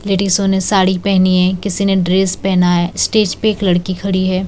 लेडीसो ने साड़ी पहनी है किसी ने ड्रेस पहना है स्टेज पे एक लड़की खड़ी है।